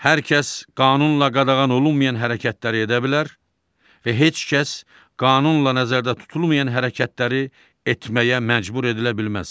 Hər kəs qanunla qadağan olunmayan hərəkətləri edə bilər və heç kəs qanunla nəzərdə tutulmayan hərəkətləri etməyə məcbur edilə bilməz.